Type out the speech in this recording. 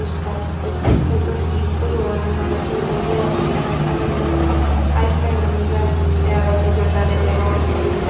puruskar hoito he toyon manusun boi boi agon tara ekka maney hai pai manuj ai te aro dijon dariye degong indi side.